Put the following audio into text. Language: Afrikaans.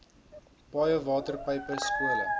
paaie waterpype skole